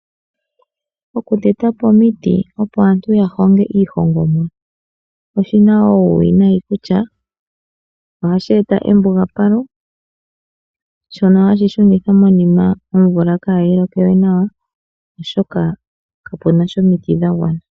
Oku tetapo omiti opo aantu ya honge iihongomwa, oshina uuwinayi oshoka ohashi eta embugapalo, shono shili hashi shunitha omvula kaayi loke we nawa, oshoka kapuna sha omiti dha gwana.